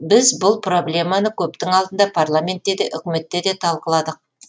біз бұл проблеманы көптің алдында парламентте де үкіметте де талқыладық